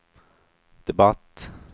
debatt